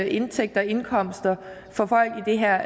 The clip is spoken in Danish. indtægter og indkomster for folk i det her